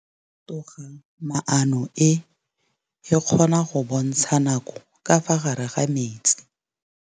Toga-maanô e, e kgona go bontsha nakô ka fa gare ga metsi.